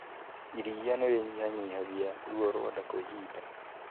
Iria nĩ rĩnyihanyihagia ruo rwa nda kwa ihinda.